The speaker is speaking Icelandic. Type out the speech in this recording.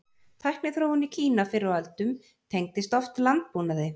Tækniþróun í Kína fyrr á öldum tengdist oft landbúnaði.